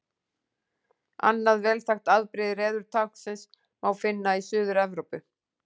Annað vel þekkt afbrigði reðurtáknsins má finna í Suður-Evrópu.